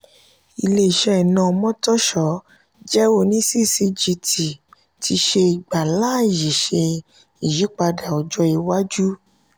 ilé-iṣẹ́ iná omotosho jẹ oní ccgt ti ṣe ìgbà láàyè ṣe iyípadà ọjọ iwájú.